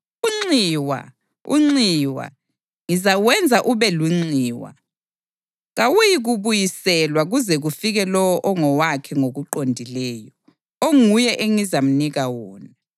Unxiwa! Unxiwa! Ngizawenza ube lunxiwa! Kawuyikubuyiselwa kuze kufike lowo ongowakhe ngokuqondileyo, onguye engizamnika wona.’